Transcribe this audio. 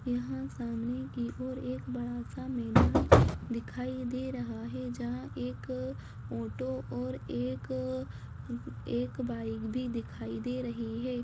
यहाँ सामने की ओर एक ‍‍बड़ा-सा मैदान दिखाई दे रहा है जहाँ एक ऑटो और एक अ एक बाइक भी दिखाई दे रही हैं।